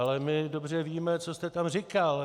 Ale my dobře víme, co jste tam říkal.